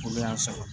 Olu y'a sara